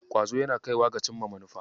Ƙwazo yaana kaiwa ga cimma manufa.